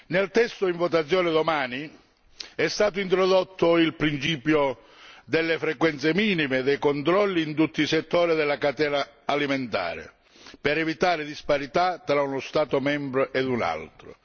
Nel testo in votazione domani è stato introdotto il principio delle frequenze minime dei controlli in tutti i settori della catena alimentare per evitare disparità fra uno Stato membro e l'altro.